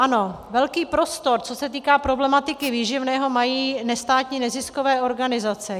Ano, velký prostor, co se týká problematiky výživného, mají nestátní neziskové organizace.